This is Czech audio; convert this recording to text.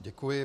Děkuji.